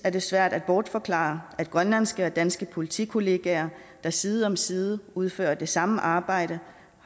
svært at bortforklare at grønlandske og danske politikollegaer der side om side udfører det samme arbejde